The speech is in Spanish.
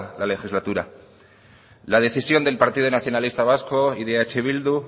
la legislatura la decisión del partido nacionalista vasco y de eh bildu